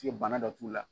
bana dɔ t'u la